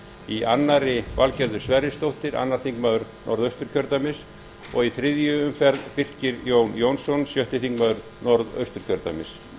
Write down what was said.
í annarri valgerður sverrisdóttir öðrum þingmönnum norðausturkjördæmis og í þriðju umferð birkir jón jónsson sjötti þingmaður norðausturkjördæmis